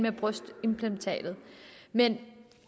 om brystimplantater men